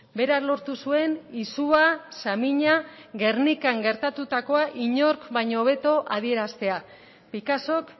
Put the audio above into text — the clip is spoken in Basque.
berak lortu zuen izua samina gernikan gertatutakoa inork baino hobeto adieraztea picassok